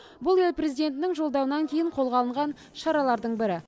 бұл ел президентінің жолдауынан кейін қолға алынған шаралардың бірі